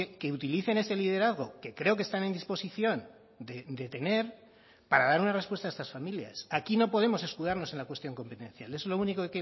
que utilicen ese liderazgo que creo que están en disposición de tener para dar una respuesta a estas familias aquí no podemos escudarnos en la cuestión competencial es lo único